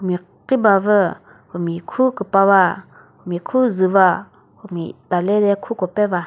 mia khribavü humi khu küpava humi khu qwu va humi talede khu ko peva.